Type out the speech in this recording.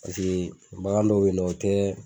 Paseke bagan dɔw bɛ ye nɔ o tɛ